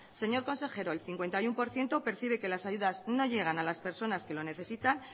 señor consejero el cincuenta y uno por ciento percibe que las ayudas no llegan a las personas que lo necesitan